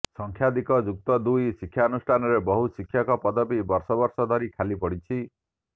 ସଂଖ୍ୟାଧିକ ଯୁକ୍ତଦୁଇ ଶିକ୍ଷାନୁଷ୍ଠାନରେ ବହୁ ଶିକ୍ଷକ ପଦବୀ ବର୍ଷ ବର୍ଷ ଧରି ଖାଲିପଡିଛି